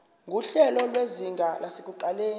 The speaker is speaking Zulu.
nguhlelo lwezinga lasekuqaleni